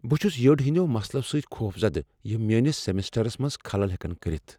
بہٕ چُھس یٔڑ ہٕندیو مسلو سۭتۍ خوفزدہ یِم میٲنس سمسٹرس منز خلل ہیکن کٔرِتھ ۔